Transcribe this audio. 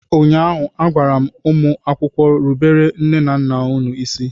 ụnyaahụ, a gwara m ụmụ akwụkwọ, rubere nne na nna unu isi!